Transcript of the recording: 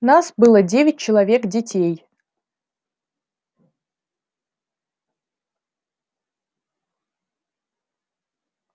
нас было девять человек детей